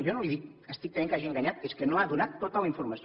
jo no li estic dient que hagi enganyat és que no ha donat tota la informació